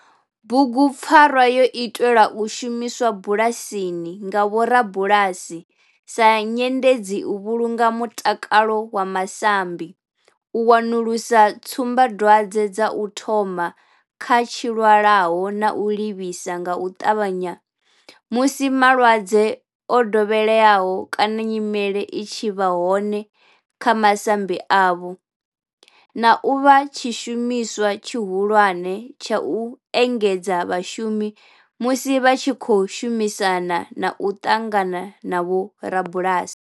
Bugupfarwa yo itelwa u shumiswa bulasini nga vhorabulasi sa nyendedzi u vhulunga mutakalo wa masambi, u wanulusa tsumbadwadzwe dza u thoma kha zwilwalaho na u livhisa nga u tavhanya musi malwadze o dovheleaho kana nyimele i tshi vha hone kha masambi avho, na u vha tshishumiswa tshihulwane tsha u engedzedza vhashumi musi vha tshi khou shumisana na u ṱangana na vhorabulasi.